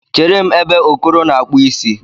Chere m ebe Okoro na-akpụ isi